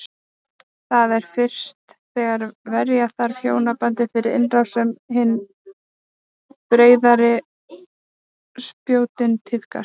Það er fyrst þegar verja þarf hjónabandið fyrir innrás sem hin breiðari spjótin tíðkast.